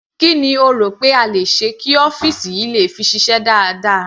Kí ni o rò pé a le ṣe kí ọ́fìsì yìí le fi ṣiṣẹ́ dáadáa.